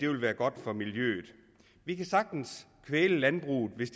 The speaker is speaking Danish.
vil være godt for miljøet vi kan sagtens kvæle landbruget hvis